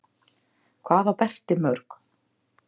Hvað á Berti mörg?